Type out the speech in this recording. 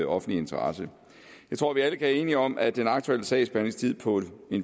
offentlig interesse jeg tror vi alle kan være enige om at den aktuelle sagsbehandlingstid på